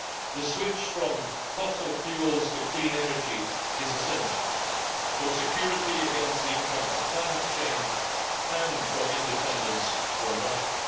The switch from fossil fuels to clean energy is essential for security against the impact of climate change and for independence from Russia.